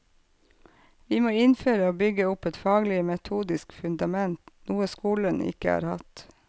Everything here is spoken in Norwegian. Vi må innføre og bygge opp et faglig, metodisk fundament, noe skolen ikke har hatt.